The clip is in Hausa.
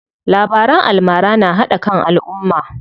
Labaran almara na haɗa kan alumma.